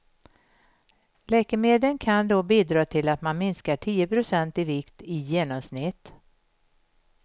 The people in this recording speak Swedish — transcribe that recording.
Läkemedlen kan då bidra till att man minskar tio procent i vikt i genomsnitt.